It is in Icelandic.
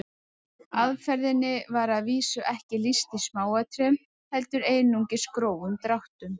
Aðferðinni var að vísu ekki lýst í smáatriðum heldur einungis grófum dráttum.